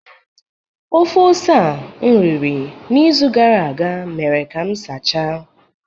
Ofe ose a na-eri n’izu gara aga mere ka m sachaa